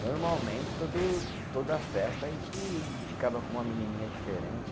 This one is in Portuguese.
Normalmente, todo toda festa a gente ficava com uma menininha diferente.